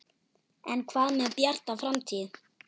En hvað með Bjarta framtíð?